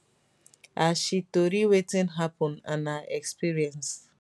as she tori wetin hapun and her experience